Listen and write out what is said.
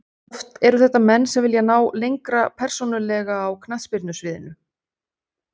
Oft ertu þetta menn sem vilja ná lengra persónulega á knattspyrnu sviðinu.